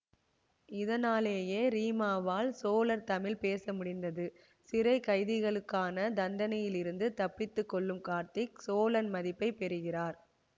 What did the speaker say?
இதனாலேயே ரீமாவால் சோழர் தமிழ் பேச முடிந்தது சிறை கைதிகளுக்கான தண்டனையிலிருந்து தப்பித்து கொள்ளும் கார்த்திக் சோழன் மதிப்பை பெறுகிறார்